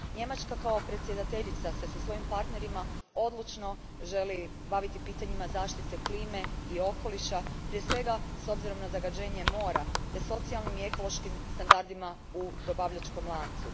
Njemačka kao predsjedateljica se sa svojim partnerima odlučno želi baviti pitanjima zaštite klime i okoliša, prije svega s obzirom na zagađenje mora te socijalnim i ekološkim standardima u dobavljačkom lancu.